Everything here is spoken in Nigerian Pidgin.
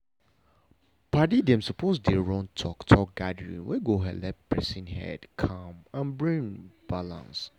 padi dem suppose dey run talk-talk gathering wey go helep person head calm and brain balance.